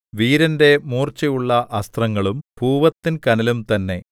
വീരന്റെ മൂർച്ചയുള്ള അസ്ത്രങ്ങളും പൂവത്തിൻ കനലും തന്നെ